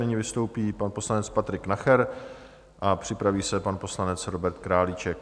Nyní vystoupí pan poslanec Patrik Nacher a připraví se pan poslanec Robert Králíček.